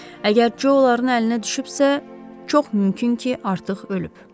Əgər Co onların əlinə düşübsə, çox mümkün ki, artıq ölüb.